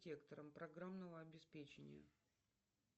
сектором програмного обеспечения